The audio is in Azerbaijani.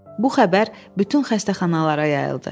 Bu xəbər bütün xəstəxanalara yayıldı.